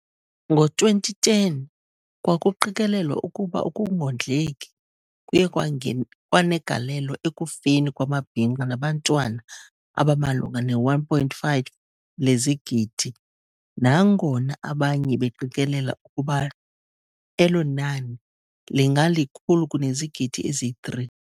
Ngo-2010 kwakuqikelelwa ukuba ukungondleki kuye kwanegalelo ekufeni kwamabhinqa nabantwana abamalunga ne-1.5 lezigidi nangona abanye beqikelela ukuba elo nani lingalikhulu kunezigidi eziyi-3.